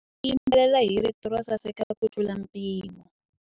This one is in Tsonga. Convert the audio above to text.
Wanuna u yimbelela hi rito ro saseka kutlula mpimo.